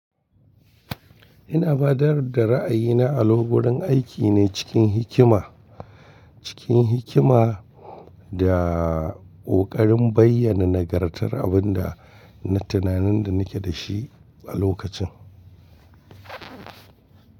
Ina baɗar da ra'ayina a lokurin aiki ne cikin hikima, cikin hikima da ƙoƙarin bayyana nagartar abin da tunanin da nake da shi a lokacin.